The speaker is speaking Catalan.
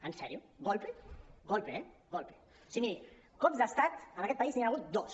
en sèrio golpe golpe eh cops d’estat en aquest país n’hi ha hagut dos